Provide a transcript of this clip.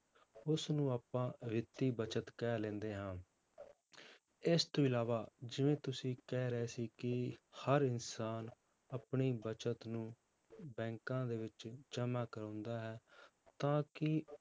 ਉਸਨੂੰ ਆਪਾਂ ਵਿੱਤੀ ਬਚਤ ਕਹਿ ਲੈਂਦੇ ਹਾਂ ਇਸ ਤੋਂ ਇਲਾਵਾ ਜਿਵੇਂ ਤੁਸੀਂ ਕਹਿ ਰਹੇ ਸੀ ਕਿ ਹਰ ਇਨਸਾਨ ਆਪਣੀ ਬਚਤ ਨੂੰ ਬੈਂਕਾਂ ਦੇ ਵਿੱਚ ਜਮਾਂ ਕਰਵਾਉਂਦਾ ਹੈ, ਤਾਂ ਕਿ